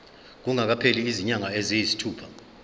kungakapheli izinyanga eziyisithupha